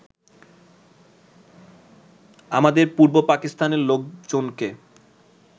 আমাদের পূর্ব পাকিস্তানের লোকজনকে